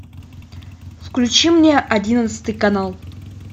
включи мне одиннадцатый канал